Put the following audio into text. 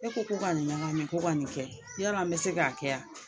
E ko ko ka nin ɲagami ko ka nin kɛ, yala an bɛ se k'a kɛ a ?